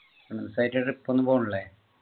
trip ഒന്നും പോണില്ലേ